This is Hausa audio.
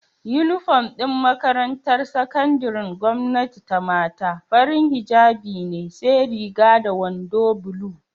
Inufom din makarantar sakandarin gwamnati ta mata, farin hijjabi ne sai Riga da wando bulu